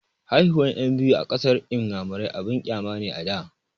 Haihuwan ƴan biyu a ƙasar inyamurai abun ƙyama ne a da